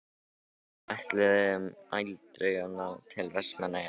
Við ætluðum aldrei að ná til Vestmannaeyja.